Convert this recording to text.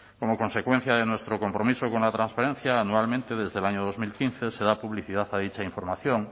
como consecuencia de nuestro compromiso con la transferencia anualmente desde el año dos mil quince se da publicidad a dicha información